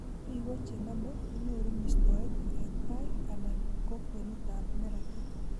Biko che name konyoru mistoet eng tai anan ko kwenutab neratet